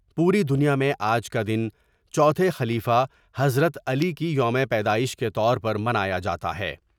پوری دنیا میں آج کا دن چوتھے خلیفہ حضرت علی کی یوم پیدائش کے طور پر منایا جا تا ہے ۔